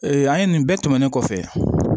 an ye nin bɛɛ tɛmɛnen kɔfɛ